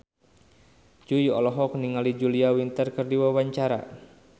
Jui olohok ningali Julia Winter keur diwawancara